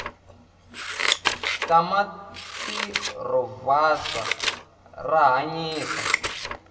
tamatirovuzfa rahhanyisa